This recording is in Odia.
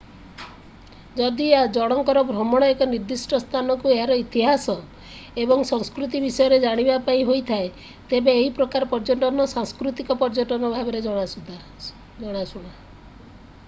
ଯଦି ଜଣଙ୍କର ଭ୍ରମଣ ଏକ ନିର୍ଦ୍ଦିଷ୍ଟ ସ୍ଥାନକୁ ଏହାର ଇତିହାସ ଏବଂ ସଂସ୍କୃତି ବିଷୟରେ ଜାଣିବା ପାଇଁ ହେଇଥାଏ ତେବେ ଏହି ପ୍ରକାର ପର୍ଯ୍ୟଟନ ସାଂସ୍କୃତିକ ପର୍ଯ୍ୟଟନ ଭାବରେ ଜଣାଶୁଣା